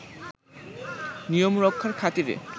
নিয়ম রক্ষার খাতিরে